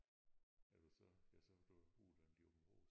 Er du så ja så har du jo boet inde i Aabenraa